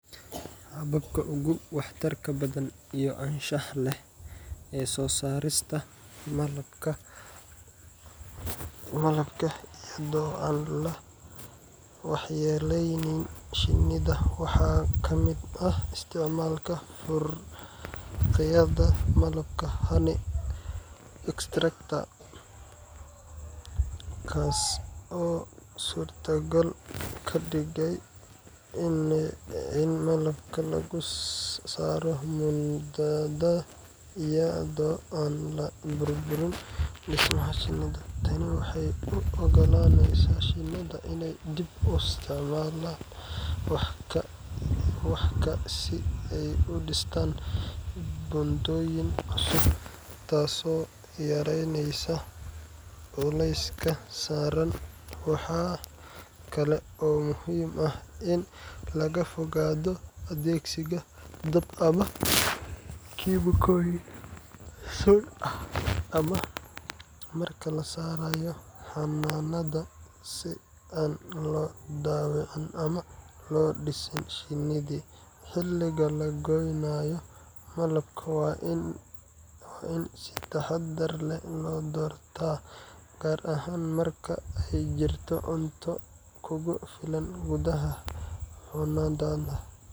Hababka ugu waxtarka badan iyo anshaxa leh ee soo saarista malabka iyadoo aan la waxyeelleynin shinnida waxaa ka mid ah isticmaalka faaruqiyaha malabka honey extractor, kaas oo suurtogal ka dhigaya in malabka laga saaro buundada iyadoo aan la burburin dhismaha shinnida. Tani waxay u oggolaanaysaa shinnida inay dib u isticmaalaan wax-ka si ay u dhistaan buundooyin cusub, taasoo yareyneysa culayska saaran. Waxaa kale oo muhiim ah in laga fogaado adeegsiga dab ama kiimikooyin sun ah marka la saarayo xannaanada, si aan loo dhaawicin ama loo disin shinnida. Xilliga la gooynayo malabka waa in si taxaddar leh loo doortaa, gaar ahaan marka ay jirto cunto kugu filan gudaha xannaanada,